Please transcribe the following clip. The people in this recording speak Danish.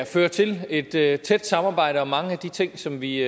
føre til et tæt tæt samarbejde om mange af de ting som vi